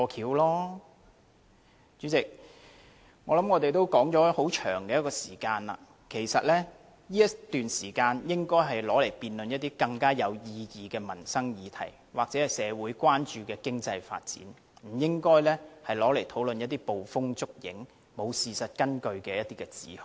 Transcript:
代理主席，我們已辯論很長時間了，這時間應該用以辯論一些更有意義的民生議題，或社會關注的經濟發展，不應該用以討論一些捕風捉影、沒有事實根據的指控。